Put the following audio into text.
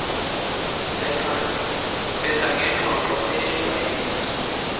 phetha ngengxoxo eyejwayelekile